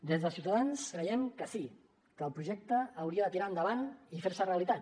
des de ciutadans creiem que sí que el projecte hauria de tirar enda vant i fer se realitat